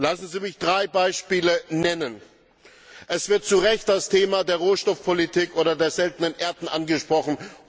Lassen Sie mich drei Beispiele nennen Es wird zu Recht das Thema der Rohstoffpolitik oder der Seltenen Erden angesprochen.